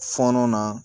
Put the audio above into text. Fɔɔnɔ na